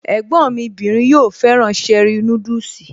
Ẹ̀gbọ́n mí bìnrin yóò fẹ́ràn cherie núdùsì